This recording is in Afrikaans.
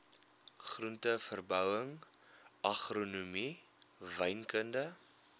groenteverbouing agronomie wynkunde